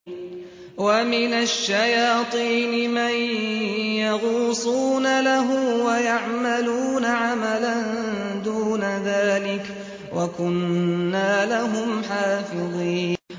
وَمِنَ الشَّيَاطِينِ مَن يَغُوصُونَ لَهُ وَيَعْمَلُونَ عَمَلًا دُونَ ذَٰلِكَ ۖ وَكُنَّا لَهُمْ حَافِظِينَ